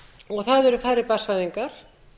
og það eru færri barnsfæðingar